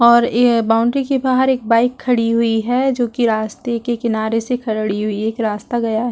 और ये बाउंड्री के बाहर एक बाइक खड़ी हुई है जोकि रास्ते के किनारे से खड़ी हुई है एक रास्ता गया है।